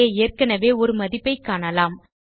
அங்கு ஏற்கெனவே ஒரு மதிப்பை காணலாம்